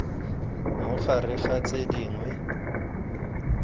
mo gare ga tse dingwe